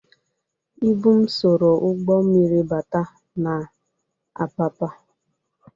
Ịbụ m soro ụgbọ mmiri bata n'Apapa.